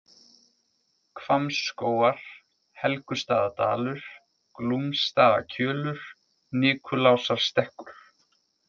Hvammsskógar, Helgustaðadalur, Glúmsstaðakjölur, Nikulásarstekkur